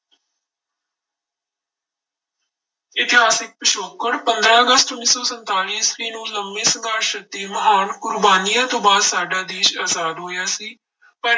ਇਤਿਹਾਸਿਕ ਪਿਛੋਕੜ, ਪੰਦਰਾਂ ਅਗਸਤ ਉੱਨੀ ਸੌ ਸੰਤਾਲੀ ਈਸਵੀ ਨੂੰ ਲੰਬੇ ਸੰਘਰਸ਼ ਅਤੇ ਮਹਾਨ ਕੁਰਬਾਨੀਆਂ ਤੋਂ ਬਾਅਦ ਸਾਡਾ ਦੇਸ ਆਜ਼ਾਦ ਹੋਇਆ ਸੀ ਪਰ